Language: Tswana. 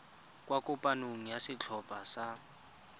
kwa kopanong ya setlhopha sa